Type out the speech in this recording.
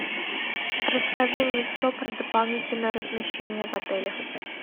расскажи мне все про дополнительное размещение в отеле